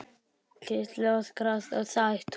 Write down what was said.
Gísli Óskarsson: Sátt?